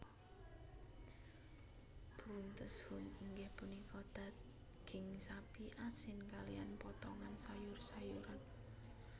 Bruntes Huhn inggih punika daging sapi asin kaliyan potongan sayur sayuran